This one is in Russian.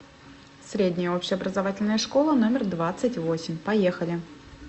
средняя общеобразовательная школа номер двадцать восемь поехали